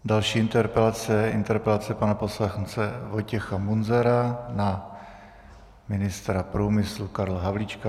Další interpelace je interpelace pana poslance Vojtěcha Munzara na ministra průmyslu Karla Havlíčka.